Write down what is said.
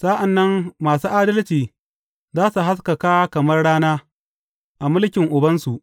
Sa’an nan masu adalci za su haskaka kamar rana a mulkin Ubansu.